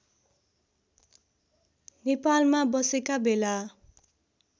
नेपालमा बसेका बेला